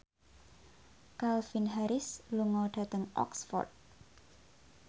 Calvin Harris lunga dhateng Oxford